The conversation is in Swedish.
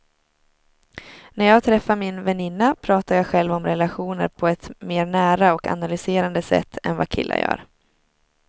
När jag träffar min väninna pratar jag själv om relationer på ett mer nära och analyserande sätt än vad killar gör.